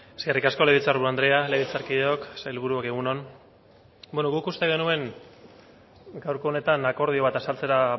eskerrik asko legebiltzar buru andrea legebiltzarkideok sailburuok egun on beno guk uste genuen gaurko honetan akordio bat azaltzera